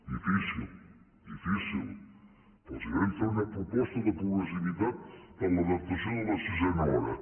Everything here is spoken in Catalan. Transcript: difícil difícil però els vam fer una proposta de progressivitat per l’adaptació de la sisena hora